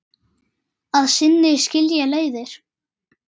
Að sinni skilja leiðir.